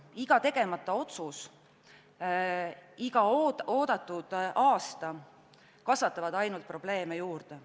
Iga tegemata otsus, iga oodatud aasta kasvatavad ainult probleeme juurde.